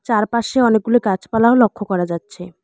চারপাশে অনেকগুলো গাছপালাও লক্ষ্য করা যাচ্ছে।